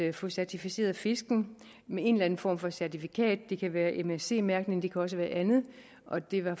at få certificeret fiskene med en eller anden form for certifikat det kan være msc mærkning det kan også være andet og det var